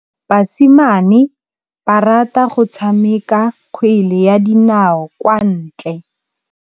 Basimane ba rata go tshameka kgwele ya dinaô kwa ntle.